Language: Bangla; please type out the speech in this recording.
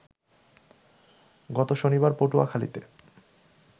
গত শনিবার পটুয়াখালীতে